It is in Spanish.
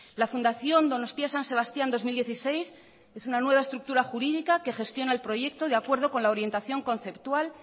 la fundación donostia san sebastían dos mil dieciséis es una nueva estructura jurídica que gestiona el proyecto de acuerdo con la orientación conceptual